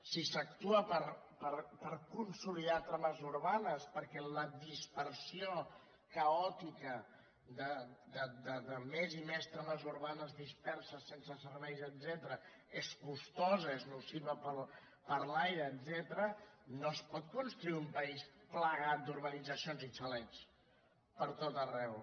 si s’actua per consolidar trames urbanes perquè la dis·persió caòtica de més i més trames urbanes disperses sense serveis etcètera és costosa és nociva per a l’ai·re etcètera no es pot construir un país plagat d’ur·banitzacions i xalets per tot arreu